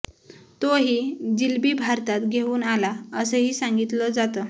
तो ही जिलबी भारतात घेऊन आला असंही सांगितलं जातं